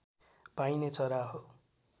पाइने चरा हो